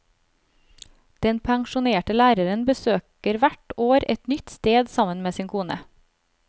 Den pensjonerte læreren besøker hvert år et nytt sted sammen med sin kone.